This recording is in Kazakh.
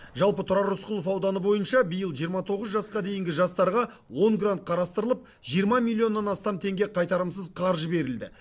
жалпы тұрар рысқұлов ауданы бойынша биыл жиырма тоғыз жасқа дейінгі жастарға он грант қарастырылып жиырма миллионнан астам теңге қайтарымсыз қаржы берілді